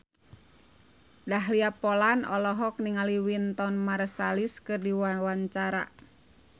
Dahlia Poland olohok ningali Wynton Marsalis keur diwawancara